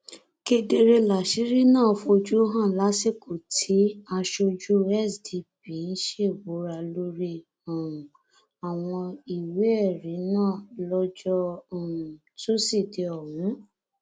kedere láṣìírí náà fojú hàn lásìkò tí aṣojú sdp ń ṣèbùrà lórí um àwọn ìwéẹrí náà lọjọ um tusidee ọhún